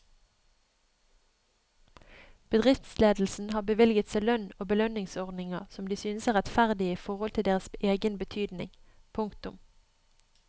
Bedriftsledelsen har bevilget seg lønn og belønningsordninger som de synes er rettferdige i forhold til deres egen betydning. punktum